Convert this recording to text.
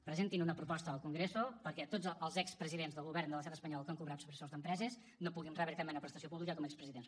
presentin una proposta al congreso perquè tots els expresidents del govern de l’estat espanyol que han cobrat sobresous d’empreses no puguin rebre cap mena de prestació pública com a expresidents